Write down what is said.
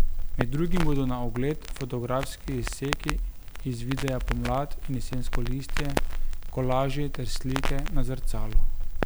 Med drugim bodo na ogled fotografski izseki iz videa Pomlad in jesensko listje, kolaži ter slike na zrcalu.